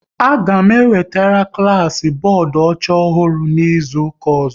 A ga m ewetere klas bọọdụ ọcha ọhụrụ n'izuka ọzọ